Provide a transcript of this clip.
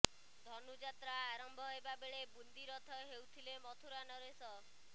ଧନୁଯାତ୍ରା ଆରମ୍ଭ ହେବା ବେଳେ ବୁନ୍ଦି ରଥ ହେଉଥିଲେ ମଥୁରା ନରେଶ